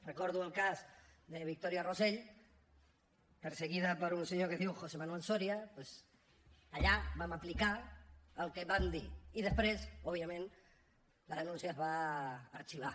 recordo el cas de victoria rosell perseguida per un senyor que es diu josé manuel soria doncs allà vam aplicar el que vam dir i després òbviament la denúncia es va arxivar